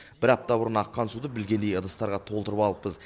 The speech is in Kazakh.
бір апта бұрын аққан суды білгендей ыдыстарға толтырып алыппыз